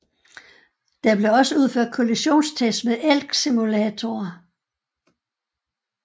Der blev også udført kollisionstests med elgsimulatorer